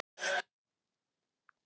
Hvernig er íslenskan þín?